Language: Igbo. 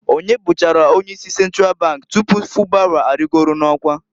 Onye bụchara onye isi Sentral bank tupu Fubara arịgolu n'ọkwa?